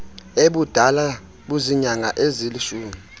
ebudala buziinyanga ezilishumi